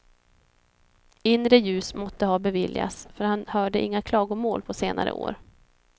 Inre ljus måtte ha beviljats, för han hörde inga klagomål på senare år.